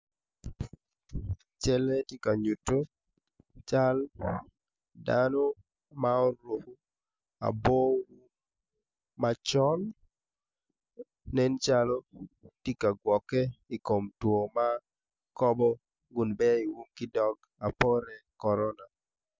Calle ti ka nyutu cal dano ma oruku labo um macol nen calo ti ka gwokke i kom two ma kobo kun bei i um ki dog bote korona